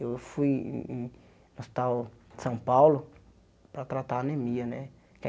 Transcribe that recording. Eu fui em em em no Hospital São Paulo para tratar anemia né.